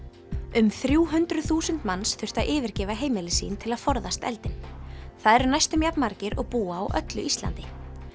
um þrjú hundruð þúsund manns þurftu að yfirgefa heimili sín til að forðast eldinn það eru næstum jafn margir og búa á öllu Íslandi